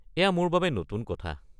এয়া মোৰ বাবে নতুন কথা।